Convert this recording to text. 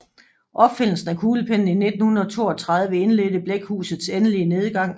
Opfindelsen af kuglepennen i 1932 indledte blækhusets endelige nedgang